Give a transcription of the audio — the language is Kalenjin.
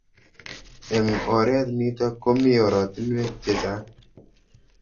Eng' oret nitok komii oratinwek chechang'